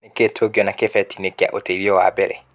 Nĩ kĩĩ tungĩona kĩbeti-ĩnĩ kĩa ũteĩthĩo wa mbere.